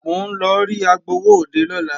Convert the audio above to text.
Mò ń lọ rí agbowóòde lọ́la